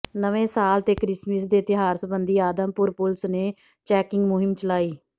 ਨਵੇਂ ਸਾਲ ਤੇ ਕ੍ਰਿਸਮਸ ਦੇ ਤਿਉਹਾਰ ਸਬੰਧੀ ਆਦਮਪੁਰ ਪੁਲਸ ਨੇ ਚੈਕਿੰਗ ਮੁਹਿੰਮ ਚਲਾਈ